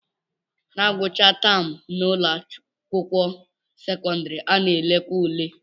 Na ngwụcha taam n'ụlọakwụkwọ sekọndịrị, a na-elekwa ule